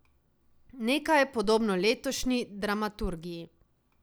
Nekaj, podobno letošnji dramaturgiji.